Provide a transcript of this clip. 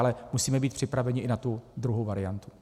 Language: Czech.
Ale musíme být připraveni i na tu druhou variantu.